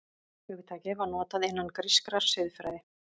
Hugtakið var notað innan grískrar siðfræði.